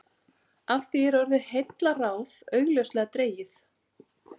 Af því er orðið heillaráð augljóslega dregið.